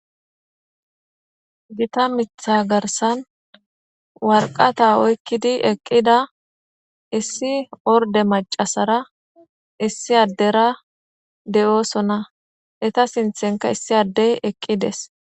Gita mitha garsan warqata oykkidi eqqida issi orde macasara issi addera de'oosona eta sinthenka issi addey eqqides.